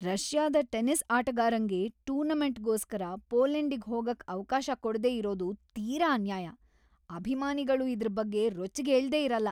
ರಷ್ಯಾದ್ tennis ಆಟಗಾರಂಗೆ ಟೂರ್ನಮೆಂಟ್‌ಗೋಸ್ಕರ ಪೋಲೆಂಡಿಗ್ ಹೋಗಕ್ ಅವ್ಕಾಶ ಕೊಡ್ದೇ ಇರೋದು ತೀರಾ ಅನ್ಯಾಯ, ಅಭಿಮಾನಿಗಳು ಇದ್ರ್‌ ಬಗ್ಗೆ ರೊಚ್ಚಿಗೇಳ್ದೇ ಇರಲ್ಲ.